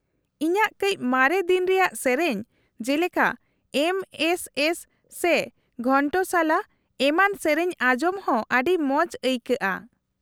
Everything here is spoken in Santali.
-ᱤᱧᱟᱹᱜ ᱠᱟᱹᱪ ᱢᱟᱨᱮ ᱫᱤᱱ ᱨᱮᱭᱟᱜ ᱥᱮᱹᱨᱮᱹᱧ ᱡᱮᱞᱮᱠᱟ ᱮᱢ ᱮᱥ ᱮᱥ ᱥᱮ ᱜᱷᱚᱱᱴᱚᱥᱟᱞᱟ, ᱮᱢᱟᱱ ᱥᱮᱹᱨᱮᱹᱧ ᱟᱸᱡᱚᱢ ᱦᱚᱸ ᱟᱹᱰᱤ ᱢᱚᱡᱽ ᱟᱹᱭᱠᱟᱹᱜᱼᱟ ᱾